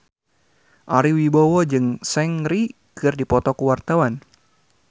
Ari Wibowo jeung Seungri keur dipoto ku wartawan